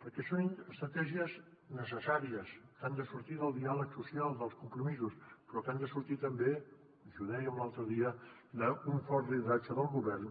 perquè són estratègies necessàries que han de sortir del diàleg social dels compromisos però que han de sortir també i us ho dèiem l’altre dia d’un fort lideratge del govern